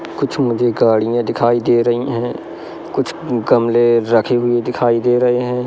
कुछ मुझे गाड़ियां दिखाई दे रही हैं कुछ गमले रखे हुए दिखाई दे रहे हैं।